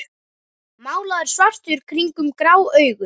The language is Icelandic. Málaður svartur kringum grá augun.